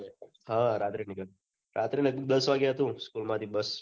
હા રાત્રે નીકળ્યા રાત્રે લગભગ દસ વાગે હતુ school માંથી bus